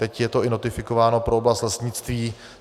Teď je to notifikováno i pro oblast lesnictví.